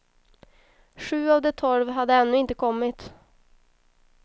Sju av de tolv hade ännu inte kommit.